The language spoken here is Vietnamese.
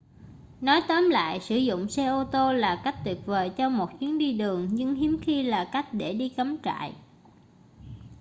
nói tóm lại sử dụng xe ô tô là cách tuyệt vời cho một chuyến đi đường nhưng hiếm khi là cách để đi cắm trại